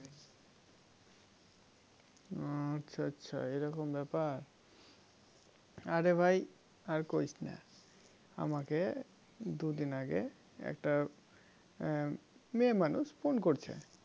ও আচ্ছা আচ্ছা এরকম ব্যাপার আরে ভাই আর ইসনা আমাকে দুদিন আগে একটা উম মেয়ে মানুষ ফোন করছে